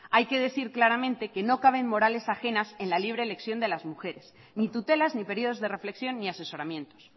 hay que decir claramente que no cabe morales ajenas en la libre elección de las mujeres ni tutelas ni periodos de reflexión ni asesoramientos